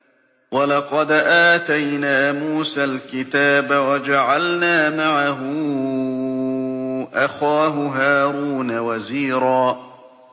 وَلَقَدْ آتَيْنَا مُوسَى الْكِتَابَ وَجَعَلْنَا مَعَهُ أَخَاهُ هَارُونَ وَزِيرًا